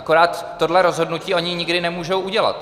Akorát tohle rozhodnutí oni nikdy nemůžou udělat.